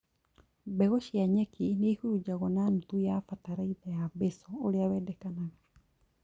Mbegũ cia nyeki nĩihurunjagwo na nuthu ya bataraitha ya basal ũrĩa wendekanaga